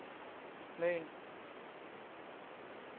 Møn